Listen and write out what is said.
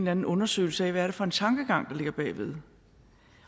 anden undersøgelse af hvad det er for en tankegang der ligger bag ved